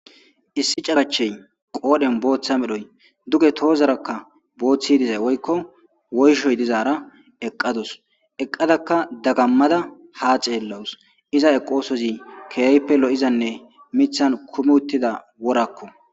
issi carachey qoodhen booththa medhoy duge toozarakka booththi dizay woykko woyshoy dizaara eqqadus eqqadakka dagammada ha xeellawus iza eqoosozi keeyppe lo7izanne mithan kumi uttida worakko